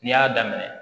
N'i y'a daminɛ